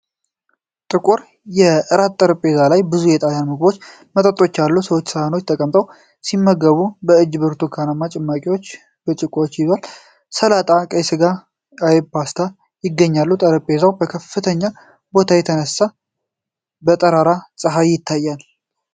ጥቁር የእራት ጠረጴዛ ላይ ብዙ የጣልያን ምግቦችና መጠጦች አሉ። ሰዎች ሳህኖች ተቀምጠው ሲመገቡ፣ አንዷ እጅ በብርቱካን ጭማቂ ብርጭቆ ተይዟል። ሰላጣ፣ ቀይ ስጋ፣ አይብና ፓስታ ይገኛሉ። ጠረጴዛው ከከፍተኛ ቦታ ተነስቶ በጠራራ ፀሐይ ይታያል።